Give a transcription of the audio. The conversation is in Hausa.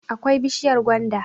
akwai bishiyar gwanda